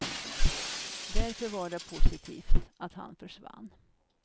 Därför var det positivt att han försvann.